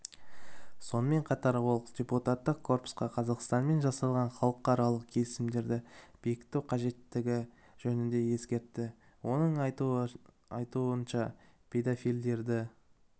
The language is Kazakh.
сонымен қатар ол депутаттық корпусқа қазақстанмен жасалған халықаралық келісімдерді бекіту қажеттігі жөнінде ескертті оның айтуынша педафилдерді